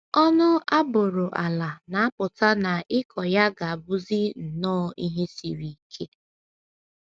Ọnụ a bụrụ ala na - apụta na ịkọ ya ga - abụzi nnọọ ihe siri ike.